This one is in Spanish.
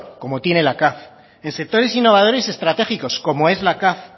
como tiene la caf en sectores innovadores estratégicos como es la caf